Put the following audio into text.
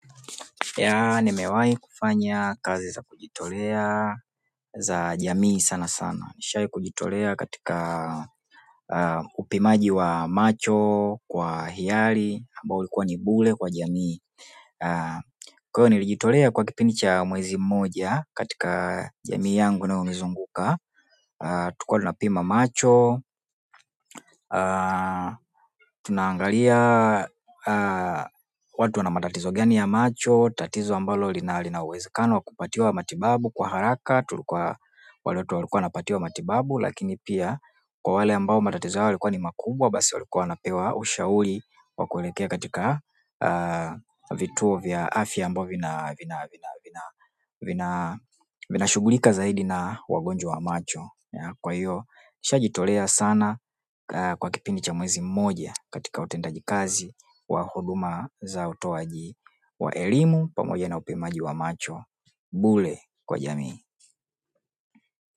Yah, nimewahi kufanya kazi za kujitolea za jamii sanasana. Nishawahi kujitolea katika upimaji wa macho kwa hiyari, ambao ulikuwa ni bure kwa jamii. Kwa hiyo nilijitolea kwa kipindi cha mwezi mmoja katika jamii yangu inayonizunguka tulikuwa tunapima macho tunaangalia watu wana matatizo gani ya macho, tatizo ambalo lina uwezekano wa kupatiwa matibabu kwa haraka tulikuwa wale watu walikuwa wanapatiwa matibabu lakini pia kwa wale ambao matatizo yao yalikuwa ni makubwa basi walikuwa wanapewa ushauri wa kuelekea katika vituo vya afya ambavyo vinashugulika zaidi na wagonjwa wa macho. Kwa hiyo, nimeshajitolea sana kwa kipindi cha mwezi mmoja katika utendaji kazi wa huduma za utoaji wa elimu pamoja na upimaji wa macho. Bure kwa jamii.